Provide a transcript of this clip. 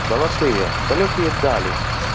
золотые далёкие дали